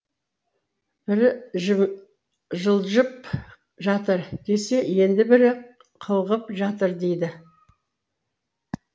бірі жыы жылжып жатыр десе енді бірі қылғып жатыр дейді